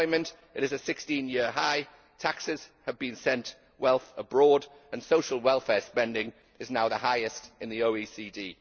Unemployment is at a 16 year high, taxes have sent wealth abroad and social welfare spending is now the highest in the OECD.